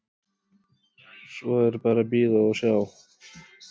Svo er bara að bíða og sjá.